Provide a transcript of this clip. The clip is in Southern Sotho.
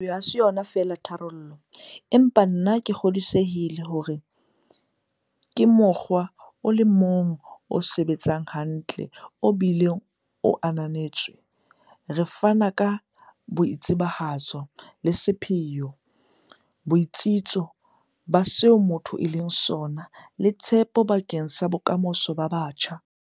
Bohwebi ha se yona feela tharollo, empa nna ke kgodisehile hore ke mokgwa o le mong o sebetsang hantle obile o ananetswe re o fana ka boitsebahatso le sepheo, botsitso ba seo motho a leng sona, le tshepo bakeng sa bokamoso ba batjha.